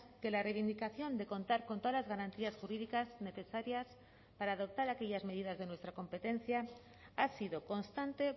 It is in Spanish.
que la reivindicación de contar con todas las garantías jurídicas necesarias para adoptar aquellas medidas de nuestra competencia ha sido constante